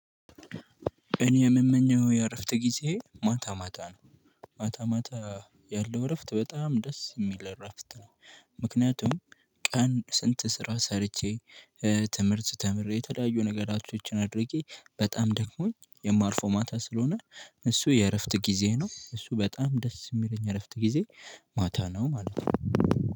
እኔ የምመኘው የእረፍት ጊዜ ማታ ማታ ነው ማታ ማታ ያለው እረፍት በጣም ደስ የሚል እረፍት ነው። ምክንያቱም ቀን ስንት ስራ ሰርቼ ትምህርት ተምሬ የተለያዩ ነገሮችን አድርጌ በጣም ደክሞኝ የማርፈው ማታ ስለሆነ እሱ የእረፍት ጊዜ ነው እሱ በጣም ደስ የሚለኝ እረፍት ጊዜ። ማታ ነው ማለት ነው።